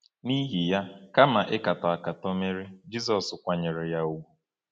N’ihi ya, kama ịkatọ ịkatọ Meri, Jizọs kwanyere ya ùgwù.